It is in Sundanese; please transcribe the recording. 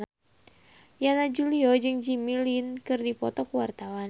Yana Julio jeung Jimmy Lin keur dipoto ku wartawan